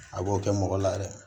A b'o kɛ mɔgɔ la yɛrɛ